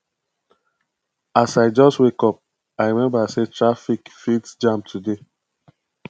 as i just wake up i remember sey traffic fit jam today